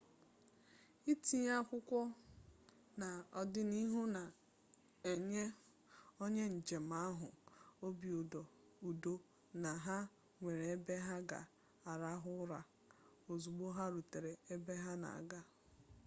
itinye akwụkwọ n'ọdịnihu na-enye onye njem ahụ obi udo na ha nwere ebe ha ga-arahụ ụra ozugbo ha rutere ebe ha na-aga